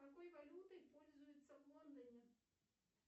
какой валютой пользуются в лондоне